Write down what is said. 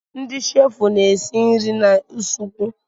Ndị sheefụ na-esi nri n'usekwu.